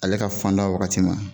Ale ka fanda wagati ma